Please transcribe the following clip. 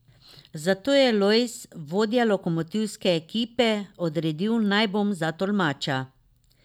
Zato je Lojz, vodja lokomotivske ekipe, odredil, naj bom za tolmača.